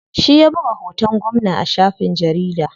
Shi ya buga hoton gwamna a shafin jarida.